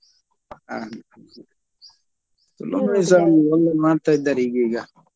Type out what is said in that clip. ಹಾ ತುಳು movie ಸ ಒಂದೊಂದು ಮಾಡ್ತಾ ಇದ್ದಾರೆ ಈಗೀಗ?